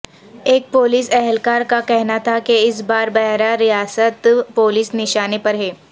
ایک پولیس اہلکار کا کہنا تھا کہ اس بار براہ راست پولیس نشانے پر ہے